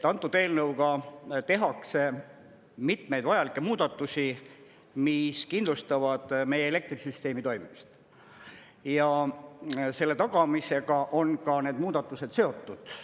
Antud eelnõuga tehakse mitmeid vajalikke muudatusi, mis kindlustavad meie elektrisüsteemi toimimist, ja selle tagamisega on ka need muudatused seotud.